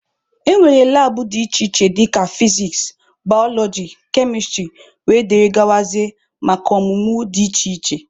E nwere labụ dị iche iche dika nke fiziks, balọọji, kemịstrị wdg maka ọmụmụ dị iche iche.